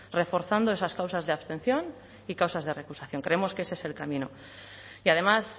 reforzando esas causas de abstención y causas de recusación creemos que ese es el camino y además